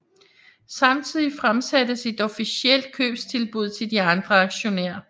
Samtidigt fremsattes et offentligt købstilbud til de andre aktionærer